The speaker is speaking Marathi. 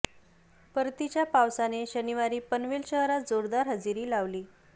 परतीच्या पावसाने शनिवारी पनवेल शहरात जोरदार हजेरी लावली